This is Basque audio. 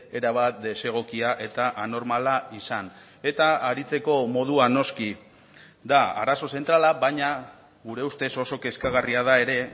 erabat desegokia eta anormala izan eta aritzeko modua noski da arazo zentrala baina gure ustez oso kezkagarria da ere